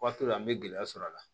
Waati dɔ la an bɛ gɛlɛya sɔrɔ a la